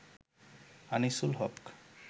Anisul Haque